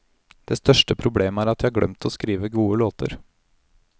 Det største problemet er at de har glemt å skrive gode låter.